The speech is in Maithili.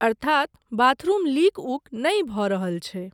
अर्थात बाथरूम लीक उक नहि भऽ रहल छै?